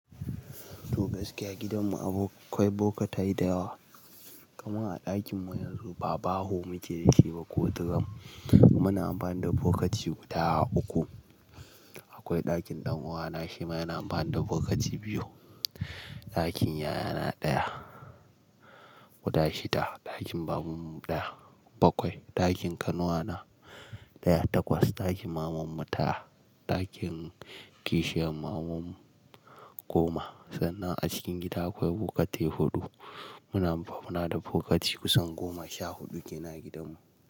To gaskiya gidanmu akwai bokatai da yawa. Kamar a ɗakinmu yanzu ba baho muke yin shi ba ko tiram. Muna amfani da bokati guda uku. Akwai ɗakin ɗan uwana shi ma yana amfani da bokati biyu. Ɗakin yayana ɗaya. Guda shida. Ɗakin babanmu ɗaya. Bakwai. Ɗakin kanuwana ɗaya. Takwas. Ɗakin mamanmu tara. Ɗakin kishiyar mamanmu goma. Sannan a cikin gida akwai bokatai huɗu. Muna amfana da bokati kusan goma sha huɗu kenan a gidanmu.